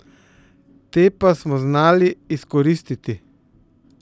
Te pa smo znali izkoristiti.